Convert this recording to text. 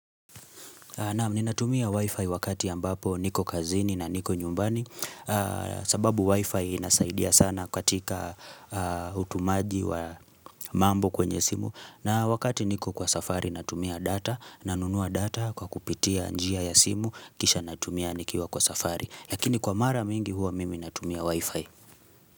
Naam, ninatumia wifi wakati ambapo niko kazini na niko nyumbani sababu wifi inasaidia sana katika utumaji wa mambo kwenye simu na wakati niko kwa safari natumia data nanunua data kwa kupitia njia ya simu Kisha natumia nikiwa kwa safari Lakini kwa mara mingi huwa mimi natumia wifi.